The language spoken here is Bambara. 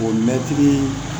O mɛtiri